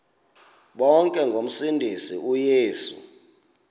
bonke ngomsindisi uyesu